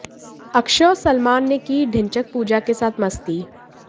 अक्षय और सलमान ने की ढिंचैक पूजा के साथ मस्ती